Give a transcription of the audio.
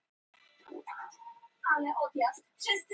Útbreiðsla íslenskra jarðmyndana.